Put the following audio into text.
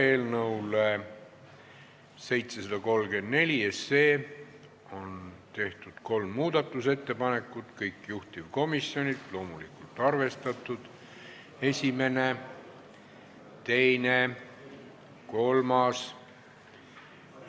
Eelnõu 734 kohta on tehtud kolm muudatusettepanekut, kõik juhtivkomisjonilt ja loomulikult arvestatud: esimene, teine, kolmas.